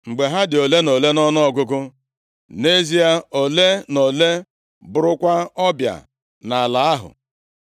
Mgbe ha dị ole na ole nʼọnụọgụgụ, nʼezie, ole na ole, bụrụkwa ọbịa nʼala ahụ.